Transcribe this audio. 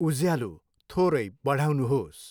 उज्यालो थोरै बढाउनुहोस्।